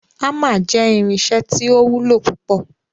Hamer jẹ irinṣẹ ti o wulo pupọ